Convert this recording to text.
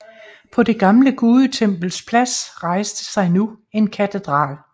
På det gamle gudetempels plads rejste sig nu en katedral